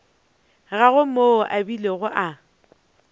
gagwe moo a bilego a